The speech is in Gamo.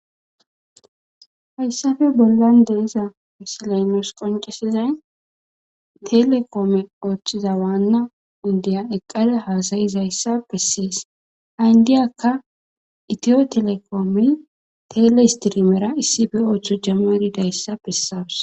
hayssappe bollan de'za misaley nus qoncesizay telekoome qoochchiza waanna indiya eqqada haasayizayssa bessees ha indiyakka itiyo telekoomey tele istirimera issippe ooththo jamaridayssa besawus.